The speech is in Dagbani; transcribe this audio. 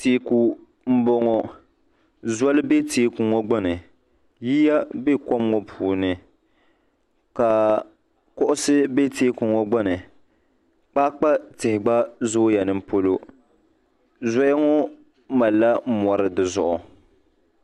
teeku m-bɔŋɔ zoli be teeku ŋɔ gbuni yiya be kom ŋɔ puuni ka kuɣisi be teeku ŋɔ gbuni kpaakpa tihi gba zooi ya ni polo zoya ŋɔ malila mɔri di zuɣu.